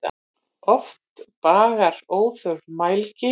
Oft bagar óþörf mælgi.